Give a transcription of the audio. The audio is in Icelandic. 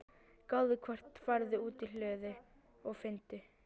gáðu hvort. farðu út í hlöðu og finndu.